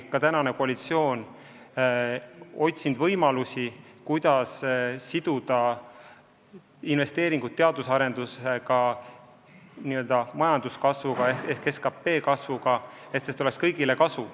Koalitsioon ongi otsinud võimalusi, kuidas siduda investeeringud teaduse arendusse majanduskasvuga ehk SKP kasvuga, et sellest oleks kõigile kasu.